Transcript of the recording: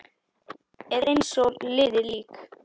Er eins og liðið lík.